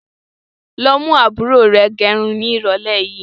Lọ mú àbúrò rẹ gẹrun ni irọ̀lẹ́ yìí!